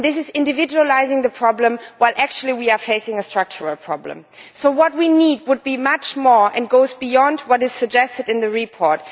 This is individualising the problem while, actually, we are facing a structural problem. So what we need is much more and goes beyond what is suggested in the report.